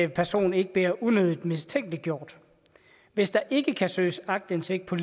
person ikke bliver unødigt mistænkeliggjort hvis der ikke kan søges aktindsigt på